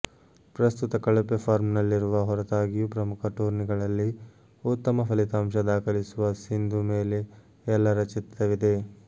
ಪ್ರಸ್ತುತ ಕಳಪೆ ಫಾರ್ಮ್ನಲ್ಲಿರುವ ಹೊರತಾಗಿಯೂ ಪ್ರಮುಖ ಟೂರ್ನಿಗಳಲ್ಲಿ ಉತ್ತಮ ಫಲಿತಾಂಶ ದಾಖಲಿಸುವ ಸಿಂಧು ಮೇಲೆ ಎಲ್ಲರ ಚಿತ್ತವಿದೆ